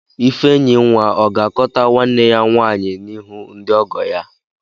Ifenyinwa ọ ga-akọta nwanne ya nwaanyị n'ihu ndị ọgọ ya?